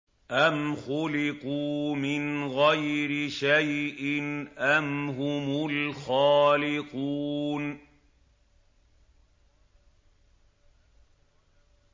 أَمْ خُلِقُوا مِنْ غَيْرِ شَيْءٍ أَمْ هُمُ الْخَالِقُونَ